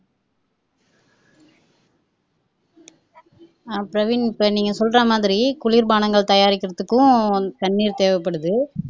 அஹ் பிரவீன் இப்ப நீங்க சொல்ற மாதிரி குளிர் பானங்கள் தயாரிக்கிறதுக்கும் தண்ணீர் தேவைப்படுது